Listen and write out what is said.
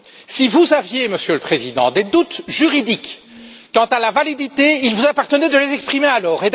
Si vous aviez, Monsieur le Président, des doutes juridiques quant à la validité, il vous appartenait de les exprimer alors.